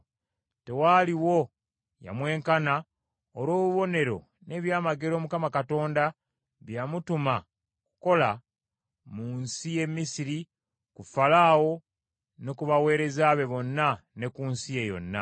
Tewaaliwo yamwenkana olw’obubonero n’ebyamagero Mukama Katonda bye yamutuma okukola mu nsi y’e Misiri ku Falaawo ne ku baweereza be bonna, ne ku nsi ye yonna,